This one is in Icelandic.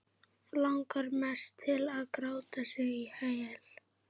Langar mest til að gráta sig í hel.